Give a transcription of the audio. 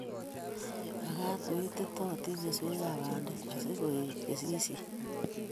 Makaat ko ititootin keswekab bandek asi koet kesishet